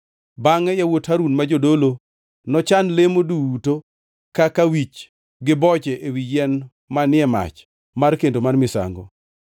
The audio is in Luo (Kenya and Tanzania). Bangʼe yawuot Harun ma jodolo nochan lemo duto kaka wich gi boche ewi yien manie mach mar kendo mar misango.